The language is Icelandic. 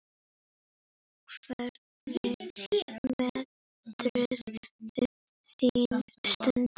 Hvernig meturðu þína stöðu?